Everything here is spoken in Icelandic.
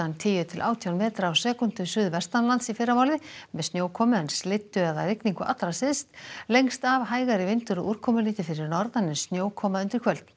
tíu til átján metra á sekúndu suðvestanlands í fyrramálið með snjókomu en slyddu eða rigningu allra syðst lengst af hægari vindur og úrkomulítið fyrir norðan en snjókoma undir kvöld